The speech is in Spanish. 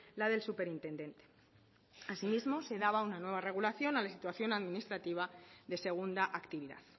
la del superintendente asimismo se daba una nueva regulación a la situación administrativa de segunda actividad